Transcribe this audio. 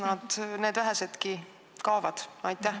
Kas need vähesedki kaovad sealt?